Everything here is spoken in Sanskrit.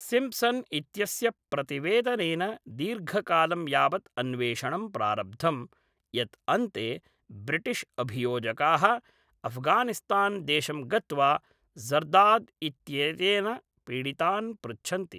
सिम्प्सन् इत्यस्य प्रतिवेदनेन दीर्घकालं यावत् अन्वेषणं प्रारब्धं, यत् अन्ते ब्रिटिश्अभियोजकाः अफ्गानिस्तान्देशं गत्वा ज़र्दाद् इत्येतेन पीडितान् पृच्छन्ति।